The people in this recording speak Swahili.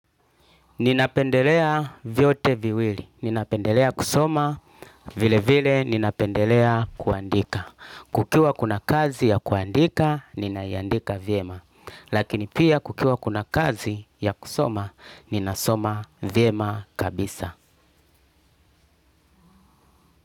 Ninapendelea vyote viwili. Ninapendelea kusoma vile vile ninapendelea kuandika. Kukiwa kuna kazi ya kuandika ninaiandika vyema. Lakini pia kukiwa kuna kazi ya kusoma ninasoma viema kabisa.